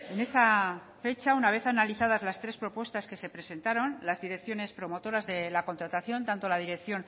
en esa fecha una vez analizadas las tres propuestas que se presentaron las direcciones promotoras de la contratación tanto la dirección